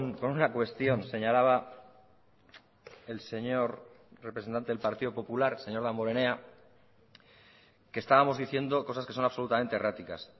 con una cuestión señalaba el señor representante del partido popular señor damborenea que estábamos diciendo cosas que son absolutamente erráticas